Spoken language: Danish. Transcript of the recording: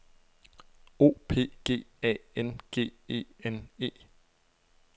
O P G A N G E N E